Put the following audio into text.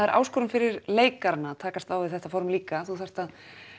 er áskorun fyrir leikarana að takast á við þetta form líka þú þarft að